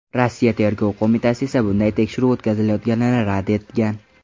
Rossiya Tergov qo‘mitasi esa bunday tekshiruv o‘tkazilayotganini rad etgan .